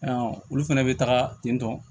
Ayiwa olu fɛnɛ bɛ taga ten tɔn